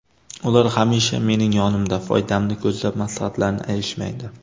Ular hamisha mening yonimda, foydamni ko‘zlab maslahatlarini ayashmaydi.